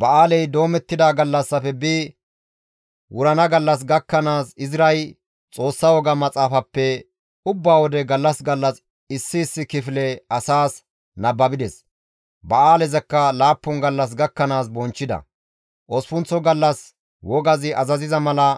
Ba7aalezi doomettida gallassafe bi wurana gallas gakkanaas Izray Xoossa woga maxaafappe ubba wode gallas gallas issi issi kifile asaas nababides; Ba7aalezakka laappun gallas gakkanaas bonchchida; Osppunththo gallas wogazi azaziza mala